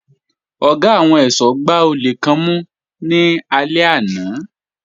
Ọ̀gá àwọn ẹ̀ṣọ́ gbá àwọn olè kan mú lálẹ́ àná